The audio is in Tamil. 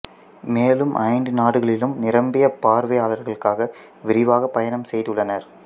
மேலும் ஐந்து நாடுகளிலும் நிரம்பிய பார்வையாளர்களுக்காக விரிவாகப் பயணம் செய்துள்ளனர்